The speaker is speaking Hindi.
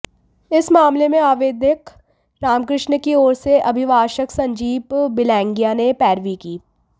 इस मामले में आवेदक रामकृष्ण की ओर से अभिभाषक संजीव बिलगैंया ने पैरवी की